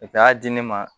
a y'a di ne ma